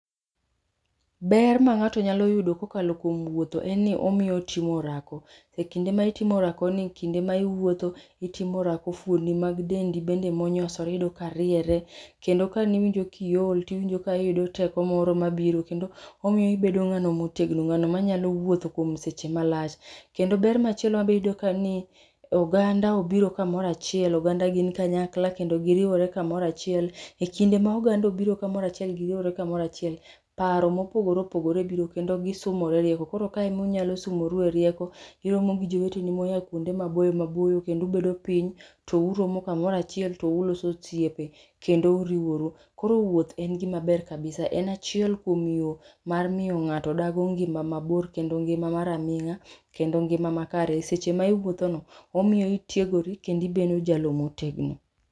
Ber ma ng'ato ka okalo kuom wuotho en ni otimo orako e kinde ma itimo orako ni e kinde ma iwuotho fuondi mag dendi ma iwinjo ka onyosore bende ineno ka riere kendo ka ne iwinjo ki iol to iwinjo ka iyudo teko moro ka biro kendo omiyo ibedo ngano ma otegno ,ngano ma nya wuotho seche ma lach. Kendo ber ma chielo ma be itudo ka ni oganda biro ka moro achiel oganda gin kanyakla kendo gi riwore ka moro achiel,e kinde ma oganda obiro ka moro achiel kendo gi riwre ka moro achiel, paro ma opogore opogore biro kendo gi sumore rieko koro kae ema unyalo sumoru e rieko uromo gi joweteni ma kuonde ma boyo ma boyo kendo ubedo piny to uromo ka moro achiel to uloso osiepe kendo uriworu .Koro wuoth en gi ma ber kabbisa en achiel kuom miyo mar miyo ng'ato dago ngima ma bor kendo ngima mar aming'a kendo ngima ma kare, seche ma iwuotho no omiyo itiegori kendo jalo ma otegno.